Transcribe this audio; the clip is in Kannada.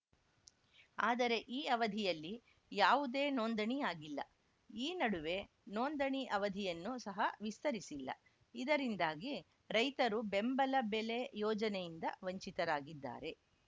ಆದರೆ ಈ ಅವಧಿಯಲ್ಲಿ ಯಾವುದೇ ನೋಂದಣಿಯಾಗಿಲ್ಲ ಈ ನಡುವೆ ನೋಂದಣಿ ಅವಧಿಯನ್ನು ಸಹ ವಿಸ್ತರಿಸಿಲ್ಲ ಇದರಿಂದಾಗಿ ರೈತರು ಬೆಂಬಲ ಬೆಲೆ ಯೋಜನೆಯಿಂದ ವಂಚಿರಾಗಿದ್ದಾರೆ